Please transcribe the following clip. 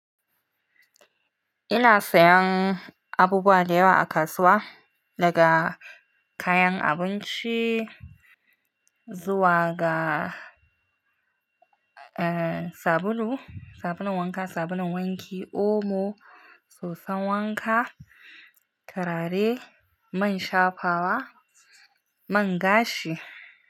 Ina sayan abubuwa da yawa a kasuwa, daga kayan abinci zuwa ga, eh, sabulu, sabulun wanka, sabulun wanki, omo, soson wanka, turare, man shafawa, man gashi.